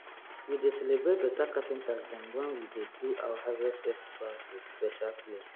we dey celebrate beta carpenters dem wen we dey do our harvest festivals wit special place